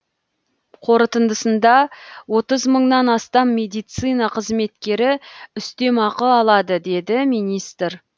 қорытындысында отыз мыңнан астам медицина қызметкері үстемақы алады деді министр